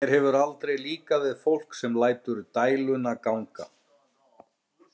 Mér hefur aldrei líkað við fólk sem lætur dæluna ganga.